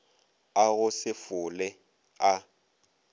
a go se fole a